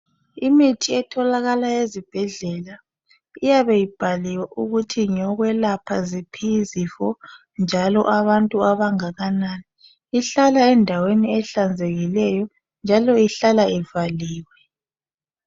Imithi etholakala ezibhedlela iyabe ibhaliwe ukuthi ngeyokwelapha ziphi izifo njalo abantu abangakanani. Ihlala endaweni ehlanzekileyo njalo ihlala ivaliwe.